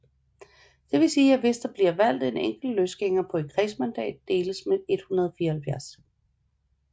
Det vil sige at hvis der bliver valgt en enkelt løsgænger på et kredsmandat deles med 174